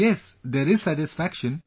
Yes, there is satisfaction